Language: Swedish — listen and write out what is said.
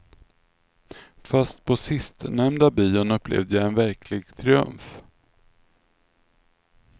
Fast på sistnämnda bion upplevde jag en verklig triumf.